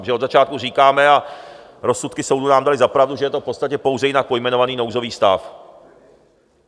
Protože od začátku říkáme, a rozsudky soudu nám daly za pravdu, že je to v podstatě pouze jinak pojmenovaný nouzový stav.